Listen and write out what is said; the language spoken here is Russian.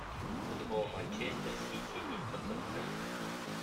футбол манчестер сити и тоттенхэм